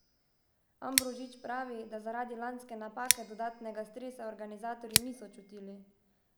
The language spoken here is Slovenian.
Ambrožič pravi, da zaradi lanske napake dodatnega stresa organizatorji niso čutili.